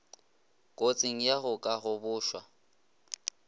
kotsing ya go ka gobošwa